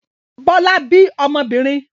Bọ́lá bí ọmọbìnrin?